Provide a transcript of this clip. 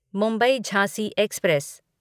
Mumbai Jhansi express